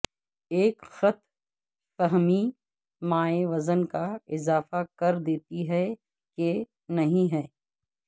ایک غلط فہمی مائع وزن کا اضافہ کر دیتی ہے کہ نہیں ہے